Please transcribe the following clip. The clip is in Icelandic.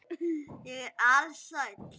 Ég er alsæll.